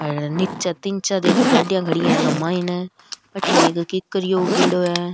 हेर निचे तीन चार गाड़िया खड़ी है आंके मायने अठीने एक किकरियो उग्योड़ो है।